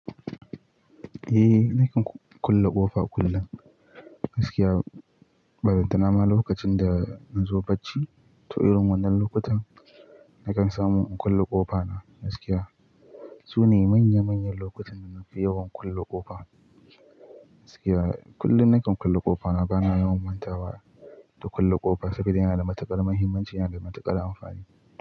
Eh, nakan kulle ƙofa kullum. Gaskiya, ballantana ma lokacin da na zo bacci, to irin wannan lokutan nakan samu in kulle ƙofa na gaskiya. Su ne manya manyan lokutan da na fi yawan kulle ƙofa gaskiya. Kullum nakan kulle ƙofa na bana yawan manta wa da kulle ƙofa sabida yana da matuƙar mahimmanci yana da matuƙar amfani.